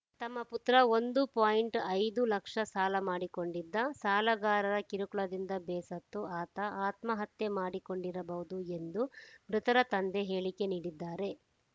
ತಮ್ಮ ಪುತ್ರ ಒಂದುಪಾಯಿಂಟ್ ಐದು ಲಕ್ಷ ಸಾಲ ಮಾಡಿಕೊಂಡಿದ್ದ ಸಾಲಗಾರರ ಕಿರುಕುಳದಿಂದ ಬೇಸತ್ತು ಆತ ಆತ್ಮಹತ್ಯೆ ಮಾಡಿಕೊಂಡಿರಬಹುದು ಎಂದು ಮೃತರ ತಂದೆ ಹೇಳಿಕೆ ನೀಡಿದ್ದಾರೆ